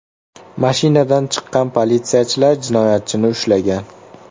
Mashinadan chiqqan politsiyachilar jinoyatchini ushlagan.